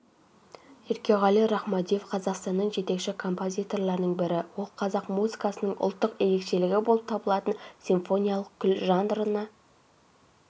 еркеғали рахмадиев қазақстанның жетекші композиторларының бірі ол қазақ музыкасының ұлттық ерекшелігі болып табылатын симфониялық күй жанрына